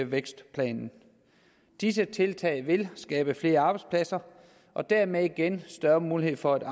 vækstplanen disse tiltag vil skabe flere arbejdspladser og dermed igen større mulighed for at